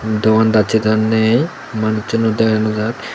dogan dacche daw ne manuchuno dega naw jaar.